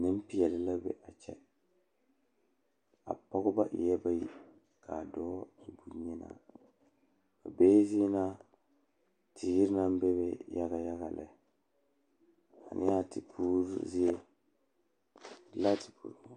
Nempeɛle la be a kyɛ. A pɔgba eɛɛ bayi. Kaa dɔɔ e bonyenaa. Ba bee zie na teere naŋ bebe yaga yaga lɛaneba tepuuruu zie la te pu.